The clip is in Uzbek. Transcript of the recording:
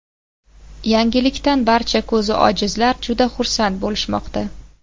Yangilikdan barcha ko‘zi ojizlar juda xursand bo‘lishmoqda.